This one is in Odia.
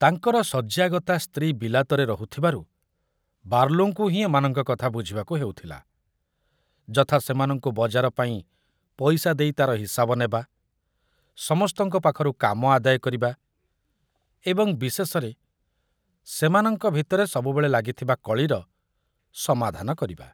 ତାଙ୍କର ଶଯ୍ୟାଗତା ସ୍ତ୍ରୀ ବିଲାତରେ ରହୁଥିବାରୁ ବାର୍ଲୋଙ୍କୁ ହିଁ ଏମାନଙ୍କ କଥା ବୁଝିବାକୁ ହେଉଥିଲା, ଯଥା ସେମାନଙ୍କୁ ବଜାର ପାଇଁ ପଇସା ଦେଇ ତାର ହିସାବ ନେବା, ସମସ୍ତଙ୍କ ପାଖରୁ କାମ ଆଦାୟ କରିବା ଏବଂ ବିଶେଷରେ ସେମାନଙ୍କ ଭିତରେ ସବୁବେଳେ ଲାଗିଥିବା କଳିର ସମାଧାନ କରିବା।